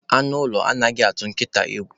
Anụ ụlọ anaghị atụ nkịta egwu